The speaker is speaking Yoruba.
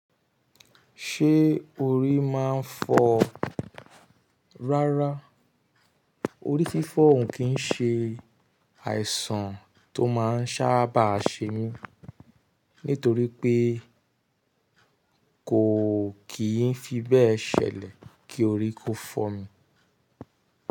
Ṣé orí máa ń fọ́? Rárá, orí fífọ̀ ń kì ń ṣe àìsàn tó máa ń sábà ṣe mí, nítorí pé kò kì í fi bẹ́ẹ̀ ṣẹlẹ̀ kí orí kó fọ́ mi.